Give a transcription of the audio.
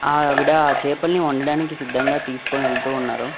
ఆవిడ ఆ చేపల్ని వండడానికి సిద్ధంగా తీసుకొనివెళ్తూ ఉన్నారు.